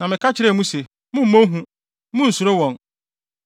Na meka kyerɛɛ mo se, “Mommɔ hu, munnsuro wɔn.